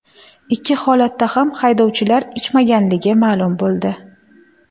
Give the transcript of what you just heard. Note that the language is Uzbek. Ikki holatda ham haydovchilar ichmaganligi ma’lum bo‘ldi.